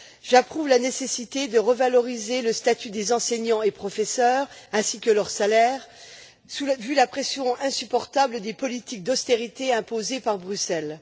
J'approuve la nécessité de revaloriser le statut des enseignants et des professeurs, ainsi que leur salaire, vu la pression insupportable des politiques d'austérité imposées par Bruxelles.